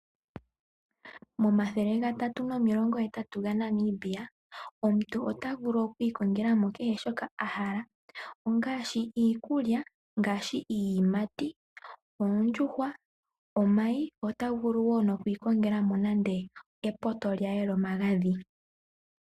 Momathele gatatu nomilongo hetatu gaNamibia omuntu otavulu okwiikongela mo kehe shoka ahala ongaashi iikulya, ngaashi iiyimati, oondjuhwa, omayi otavulu woo nokwiikongela mo nande epoto lye lyomagadhi.